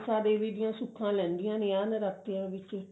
ਮਨਸਾ ਦੇਵੀ ਦੀਆਂ ਸੁੱਖਾਂ ਲਹਿੰਦਿਆਂ ਨੇ ਆਹ ਨਰਾਤਿਆਂ ਵਿੱਚ